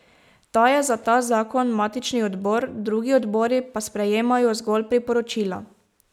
Ta je za ta zakon matični odbor, drugi odbori pa sprejemajo zgolj priporočila.